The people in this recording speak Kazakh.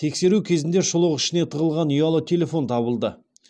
тексеру кезінде шұлық ішіне тығылған ұялы телефон табылды